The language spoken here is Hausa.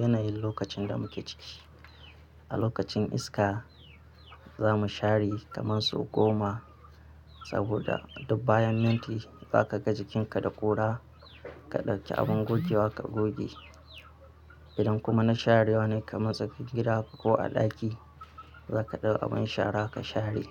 yanayin lokacin da muke ciki. A lokacin iska za mu share kamar sau goma, saboda duk bayan minti za ka ga jikinka da ƙura ka ɗauki abin gogewa ka goge. Idan kuma na sharewa ne kama sa fiƙira ko a ɗaki za ka ɗau abin shara ka share.